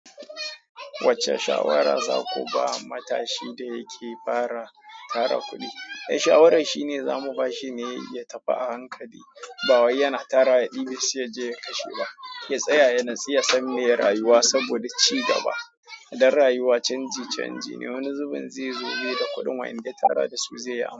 Wacce shawara za ku ba matashi da yake fara tara kuɗi? Shawaran shine za mu ba shi ne ya tafi a hankali. Ba wai yana tarawa ya ɗibe shi ya je ya kashe ba. Ya tsaya ya natsu yasan meye rayuwa saboda ya ci gaba. Dan rayuwa canji canji ne. Wani zubin zai zo baida kuɗin wanda ya tara da su zai yi amfani.